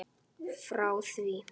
Frá því